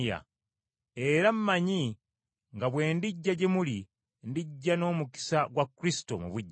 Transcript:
Era mmanyi nga bwe ndijja gye muli, ndijja n’omukisa gwa Kristo mu bujjuvu.